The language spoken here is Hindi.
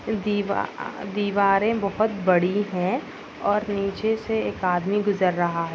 दीवा दिवारे बहुत बड़ी है। और नीचे से एक आदमी गुजर रहा है।